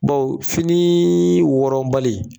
Bawo fini wɔrɔnbali